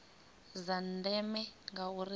dza ndeme ngauri dzi ea